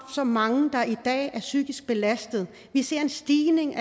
så mange der i dag er psykisk belastet vi ser en stigning